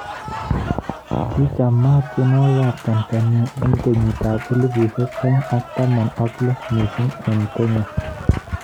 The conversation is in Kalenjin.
Ki chamaat tyenwogik ab Tanzania eng' kenyit ab elibu aeng' ak taman ak lo missing eng Kenya